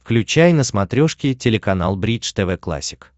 включай на смотрешке телеканал бридж тв классик